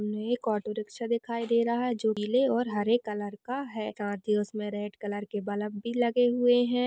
ये एक ऑटो रिक्शा दिखाई दे रहा है जो पीले और हरे कलर का है। साथ ही उसमें रेड कलर के बलब भी लगे हुए है।